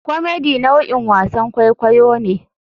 Comedy nau'in wasan kwaikwayo ne.